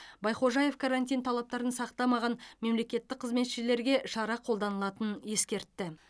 байхожаев карантин талаптарын сақтамаған мемлекеттік қызметшілерге шара қолданылатынын ескертті